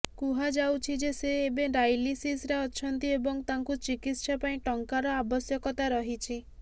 କୁହାଯାଉଛି ଯେ ସେ ଏବେ ଡାଇଲିସିସରେ ଅଛନ୍ତି ଏବଂ ତାଙ୍କୁ ଚିକିତ୍ସା ପାଇଁ ଟଙ୍କାର ଆବଶ୍ୟକତା ରହିଛି